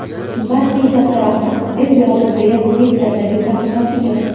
Barchaga katta rahmat”, – deb yozdi Beyl Twitter’dagi sahifasiga.